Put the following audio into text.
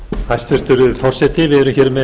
hæstvirtur forseti við erum hér með